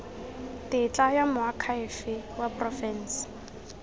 tetla ya moakhaefe wa porofense